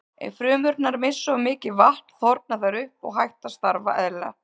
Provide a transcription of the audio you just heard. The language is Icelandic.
Ef frumurnar missa of mikið vatn þorna þær upp og hætt að starfa eðlilega.